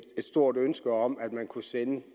stort ønske om at man kunne sænke